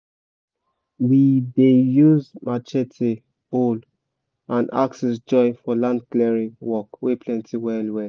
we dey use matchete hoe and axes join for land clearing work wey plenty well well